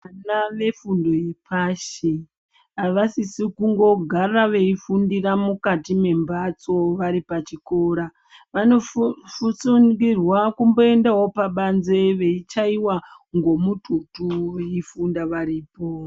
Vana vefundo yepashi avasisi kungogara veifundira mukati mbepatso varipachikoro vanofusungirwa kumboendawo pabanze veichayiwa ngemututu varipo.